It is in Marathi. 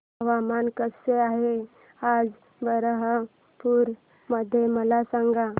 हवामान कसे आहे आज बरहमपुर मध्ये मला सांगा